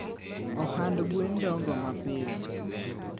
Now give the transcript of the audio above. Ohand gwen dongo mapiyo